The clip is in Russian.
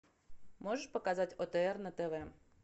можешь показать отр на тв